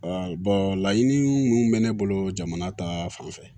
laɲini minnu bɛ ne bolo jamana ta fanfɛ